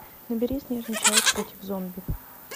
набери снежный человек против зомби